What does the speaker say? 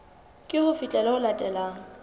ke ho fihlela ho latelang